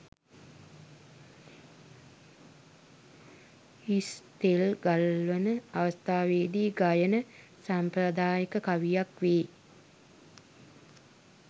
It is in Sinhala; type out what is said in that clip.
හිස් තෙල් ගල්වන අවස්ථාවේදී ගයන සාම්ප්‍රදායික කවියක් වේ